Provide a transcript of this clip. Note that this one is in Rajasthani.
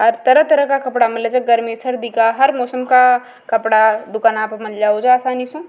तरह तरह का कपड़ा मिले छ गर्मी सर्दी का हर मौसम का कपड़ा मिले आसानी सु।